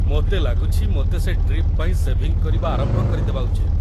ମୋତେ ଲାଗୁଛି ମୋତେ ସେ ଟ୍ରିପ୍ ପାଇଁ ସେଭିଂ କରିବା ଆରମ୍ଭ କରିଦେବା ଉଚିତ୍‌ ।